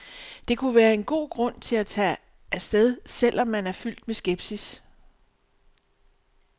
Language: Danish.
Det kunne være en god grund til at tage afsted, selv om man er fyldt med skepsis.